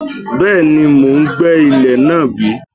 Bẹ́ẹ̀ni, mò ń gbẹ́ ilẹ̀ náà bí